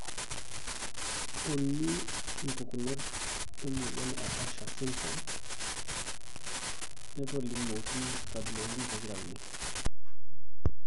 Uni mpukunot emoyian e Usher syndrome natolimuoki nkabilaritinI, II, and III.